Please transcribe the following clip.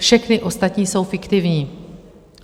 Všechny ostatní jsou fiktivní.